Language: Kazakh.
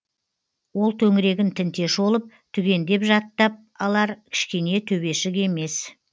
ол төңірегін тінте шолып түгендеп жаттап алар кішкене төбешік емес